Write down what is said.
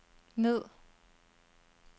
ned